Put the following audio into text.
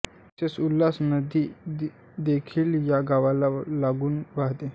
तसेच उल्हास नदी देखील या गावाला लागूनच वाहते